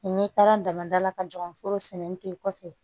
N'i taara dama da la ka ɲɔgɔn foro sɛnɛ pekɔfɛ